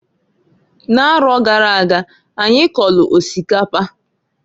N'aro gara aga, anyi kọlụ osikapa.